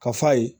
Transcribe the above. Ka f'a ye